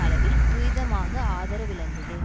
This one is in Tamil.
அளவில் துரிதமாக ஆதரவிழந்தது